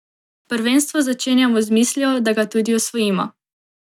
Prvenstvo začenjamo z mislijo, da ga tudi osvojimo.